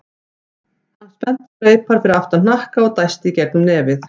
Hann spennti greipar fyrir aftan hnakka og dæsti í gegnum nefið.